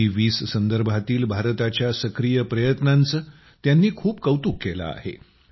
जी20 संदर्भातील भारताच्या सक्रिय प्रयत्नांचे त्यांनी खूप कौतुक केले आहे